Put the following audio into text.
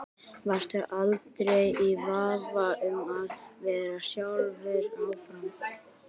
Varstu aldrei í vafa um að vera sjálfur áfram?